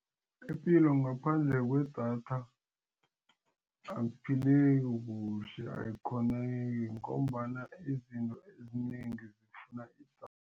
Ipilo ngaphandle kwedatha akuphileki kuhle ayikghoneki ngombana izinto ezinengi zifuna